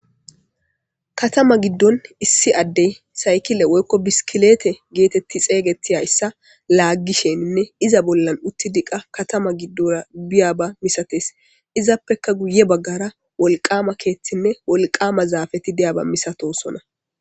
katama giddon issi addey saykile woykko biskilete geetetti xeygeti zayssa laaggisheninne iza bollan utti diqa katama giddora biyaba misates izappeka guye baggara wolqama keeththinne wolqama zaafati diyaba misatosona